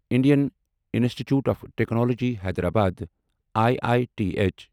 Indian Institute of Technology Hyderabad I I T H